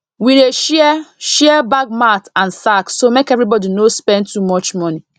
we dey share share bag mat and sack so make everybody no spend too much money